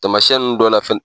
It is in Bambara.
Taamasiyɛn nunnu dɔ la fɛ